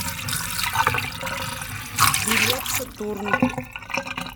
билет сатурн